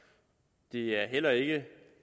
det er er heller ikke